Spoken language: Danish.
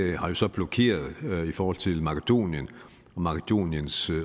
jo så blokeret i forhold til makedonien og makedoniens